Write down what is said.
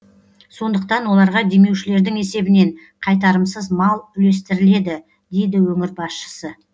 сондықтан оларға демеушілердің есебінен қайтарымсыз мал үлестіріледі дейді өңір басшысы